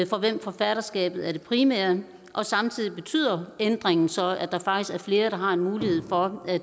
for hvem forfatterskabet er det primære og samtidig betyder ændringen så at der faktisk er flere der har mulighed for at